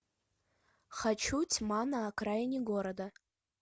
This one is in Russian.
хочу тьма на окраине города